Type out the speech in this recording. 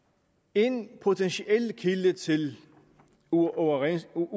en potentiel kilde til uoverensstemmelser